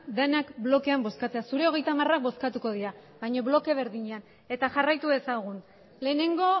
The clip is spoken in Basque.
denak blokean bozkatzera zure hogeita hamarak bozkatuko dira baino bloke berdinean eta jarraitu dezagun lehenengo